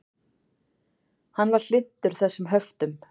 Hann var hlynntur þessum höftum.